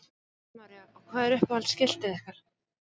Helga María: Og hvað er uppáhalds skiltið ykkar?